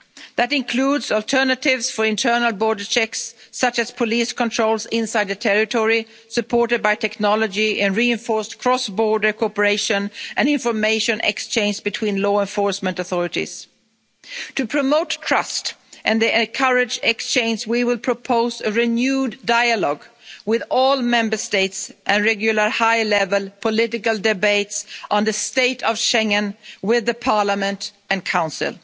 That includes alternatives for internal border checks, such as police controls inside the territory supported by technology and reinforced cross border cooperation and information exchange between law enforcement authorities. To promote trust and then encourage exchange we will propose a renewed dialogue with all Member States and regular high level political debates on the state of Schengen with Parliament and the